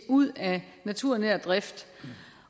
ud af naturnær drift